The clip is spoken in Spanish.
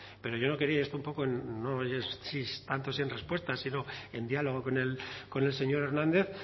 pero yo no quería y esto un poco en tanto si en respuesta sino en diálogo con el señor hernández